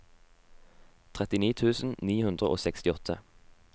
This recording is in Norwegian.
trettini tusen ni hundre og sekstiåtte